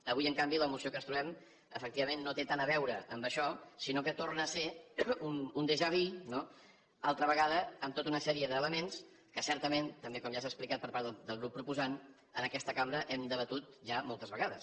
avui en canvi la moció que ens trobem efectivament no té tant a veure amb això sinó que torna a ser un dejà vu no altra vegada amb tota una sèrie d’elements que certament també com ja s’ha explicat per part del grup proposant en aquesta cambra hem debatut ja moltes vegades